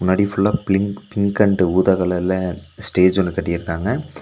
னாடி ஃபுல்லா blink pink and ஊதா கலர்ல ஸ்டேஜ் ஒன்னு கட்டிருக்காங்க.